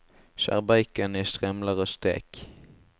Skjær bacon i strimler og stek.